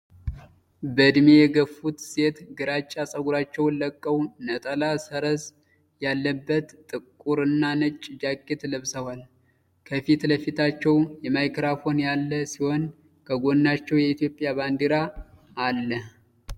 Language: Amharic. በዕድሜ የገፉት ሴት ግራጫ ፀጉራቸውን ለቀው፣ ነጠላ ሰረዝ ያለበት ጥቁርና ነጭ ጃኬት ለብሰዋል። ከፊት ለፊታቸው ማይክራፎን ያለ ሲሆን ከጎናቸው የኢትዮጵያ ባንዲራ አለ።